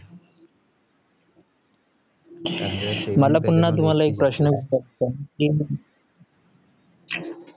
मला पुन्हा तुम्हाला एक प्रश्न विचारायचा आहे की